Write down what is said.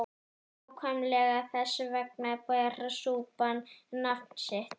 Nákvæmlega þess vegna ber súpan nafn sitt.